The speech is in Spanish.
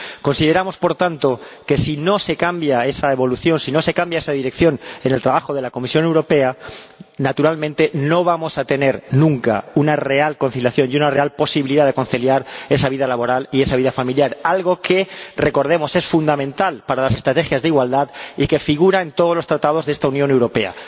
Consideramos, por tanto, que, si no se cambia esa evolución, si no se cambia esa dirección en el trabajo de la Comisión Europea, naturalmente no vamos a tener nunca una real conciliación y una real posibilidad de conciliar esa vida laboral y esa vida familiar, algo que, recordemos, es fundamental para las estrategias de igualdad y que figura en todos los Tratados de esta Unión Europea.